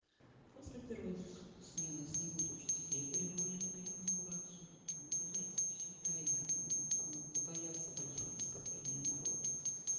после первой смены снимут учителей и пригонят на инаугурацию блядь всё тайно там побояться большого скопления народу